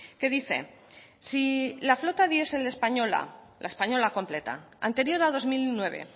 que dice si la flota diesel española la española completa anterior a dos mil nueve